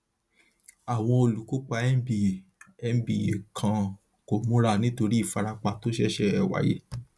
àwọn olùkópa nba nba kan kò múra nítorí ìfarapa tó ṣẹṣẹ wáyé